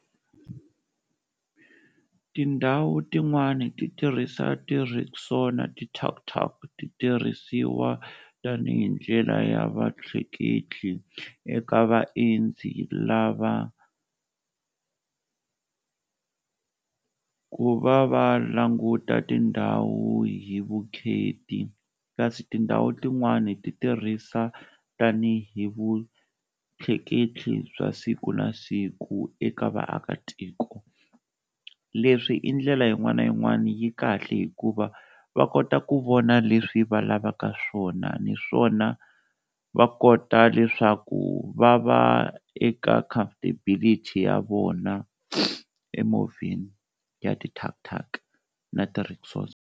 Tindhawu tin'wani ti tirhisa ti-rickshaws na ti-tuk-tuk, ti tirhisiwa tanihi ndlela ya va tleketli eka vaendzi lava ku va va languta tindhawu hi vukheti, kasi tindhawu tin'wani ti tirhisa tanihi vutleketli bya siku na siku eka vaakatiko, leswi i ndlela yin'wana na yin'wana yi kahle hikuva va kota ku vona leswi va lavaka swona niswona va kota leswaku va va eka comfortability ya vona emovheni ya ti-tuk-tuk na ti-rickshaws.